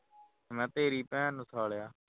ਮੈਂ ਕਿਹਾ ਤੇਰੀ ਭੈਣ ਨੂੰ ਆਇਆ